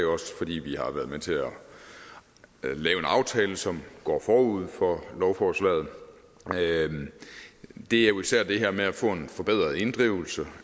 fordi vi har været med til at lave en aftale som går forud for lovforslaget det er jo især det her med at få en forbedret inddrivelse